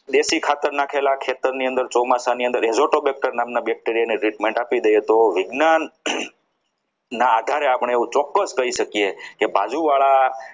દેશી ખાતર નાખેલા ખેતર ની અંદર ચોમાસામાં bacteria ની treatment આપી દઈએ તો વિજ્ઞાન ના આધારે આપણે એવું ચોક્કસ કહી શકીએ કે બાજુવાળા